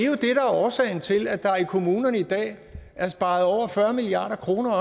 er årsagen til at der i kommunerne i dag er sparet over fyrre milliard kroner